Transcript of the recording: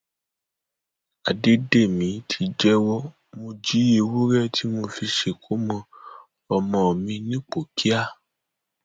àdédémí ti jẹwọ mo jí ewúrẹ tí mo fi ṣèkómọ ọmọ mi nipòkíà